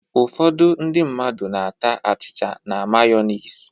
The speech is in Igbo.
Ụfọdụ ndị mmadụ na-ata achịcha na mayọnis